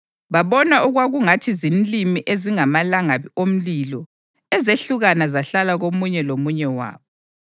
Babona okwakungathi zinlimi ezingamalangabi omlilo ezehlukana zahlala komunye lomunye wabo.